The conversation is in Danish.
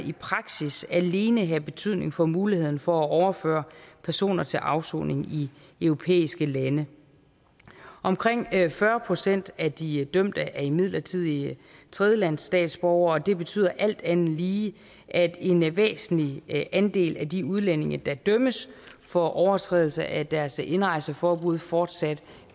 i praksis alene have betydning for muligheden for at overføre personer til afsoning i europæiske lande omkring fyrre procent af de dømte er imidlertid tredjelandsstatsborgere og det betyder alt andet lige at en væsentlig andel af de udlændinge der dømmes for overtrædelse af deres indrejseforbud fortsat